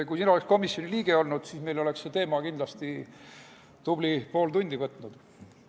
Kui sina oleks komisjoni liige olnud, siis oleks see teema kindlasti tubli pool tundi võtnud.